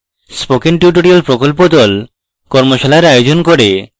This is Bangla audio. spoken tutorial প্রকল্প the tutorial ব্যবহার করে কর্মশালার আয়োজন করে